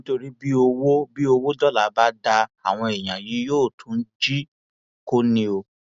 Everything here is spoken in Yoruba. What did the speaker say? nítorí bí owó bí owó dọlà bá dáa àwọn èèyàn yìí yóò tún jí i kó ní o